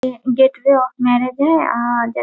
ये gateway of marriage है और दे --